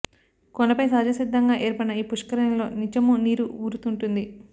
కొండపై సహజ సిద్ధంగా ఏర్పడిన ఈ పుష్కరిణిలో నిత్యమూ నీరు ఊరుతుంటుంది